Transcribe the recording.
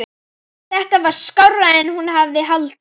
Þetta var skárra en hún hafði haldið.